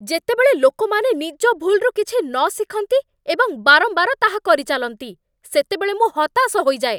ଯେତେବେଳେ ଲୋକମାନେ ନିଜ ଭୁଲ୍‌ରୁ କିଛି ନ ଶିଖନ୍ତି ଏବଂ ବାରମ୍ବାର ତାହା କରିଚାଲନ୍ତି, ସେତେବେଳେ ମୁଁ ହତାଶ ହୋଇଯାଏ।